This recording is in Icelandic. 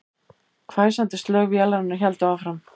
Hvæsandi slög vélarinnar héldu áfram